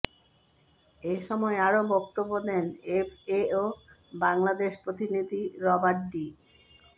এ সময় আরও বক্তব্য দেন এফএও বাংলাদেশ প্রতিনিধি রবার্ট ডি